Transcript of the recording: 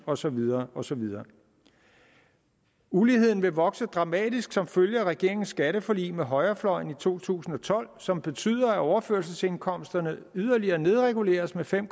og så videre og så videre uligheden vil vokse dramatisk som følge af regeringens skatteforlig med højrefløjen i to tusind og tolv som betyder at overførselsindkomsterne yderligere nedreguleres med fem